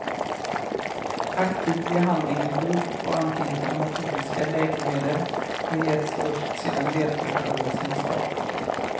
Aktiv behandling med guld och antiinflammatoriska läkemedel har getts först sedan ledförstörelsen startat.